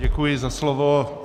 Děkuji za slovo.